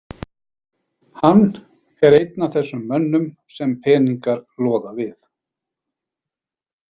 Hann er einn af þessum mönnum sem peningar loða við.